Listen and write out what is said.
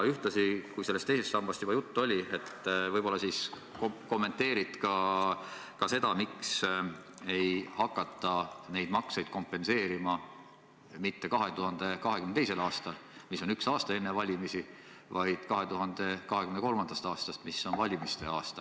Ja kui teisest sambast juba juttu oli, siis võib-olla kommenteerid ka seda, miks ei hakata makseid kompenseerima mitte 2022. aastal ehk üks aasta enne valimisi, vaid 2023. aastal, mis on valimiste aasta.